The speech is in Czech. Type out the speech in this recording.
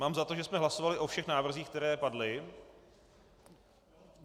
Mám za to, že jsme hlasovali o všech návrzích, které padly.